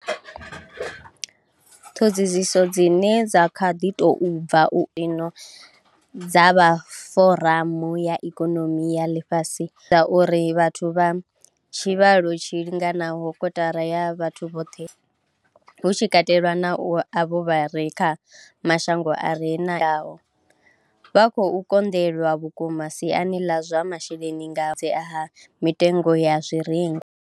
Ṱhoḓisiso dzine dza kha ḓi tou bva u anḓadzwa dza vha Foramu ya Ikonomi ya Ḽifhasi uri vhathu vha tshivhalo tshi linganaho kotara ya vhathu vhoṱhe, hu tshi katelwa na avho vha re kha mashango a re na ikonomi yo bvelelaho, vha khou konḓelwa vhukuma siani ḽa zwa masheleni nga ha mitengo ya zwirengwa.